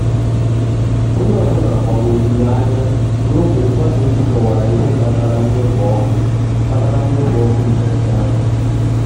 onye ọ bụla gbagwojuru anya ruo mgbe mgbasa ozi kọwara ihe kpatara mwepu ọkụ kpatara mwepu ọkụ mberede ahụ.